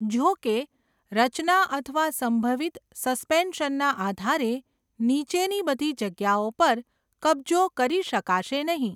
જો કે, રચના અથવા સંભવિત સસ્પેન્શનના આધારે નીચેની બધી જગ્યાઓ પર કબજો કરી શકાશે નહીં.